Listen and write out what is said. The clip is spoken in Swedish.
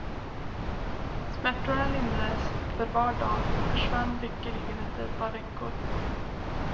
Smärtorna lindrades för var dag och försvann lyckeligen efter ett par veckor.